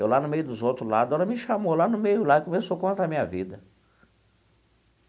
Eu lá no meio dos outros lá a dona me chamou lá no meio lá e começou a contar a minha vida.